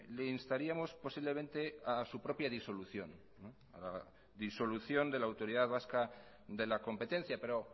le instaríamos posiblemente a su propia disolución disolución de la autoridad vasca de la competencia pero